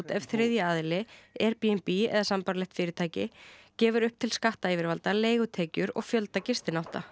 ef þriðji aðili Airbnb eða sambærileg fyrirtæki gefur upp til skattayfirvalda leigutekjur og fjölda gistinátta